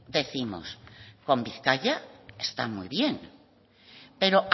décimos con bizkaia está muy bien pero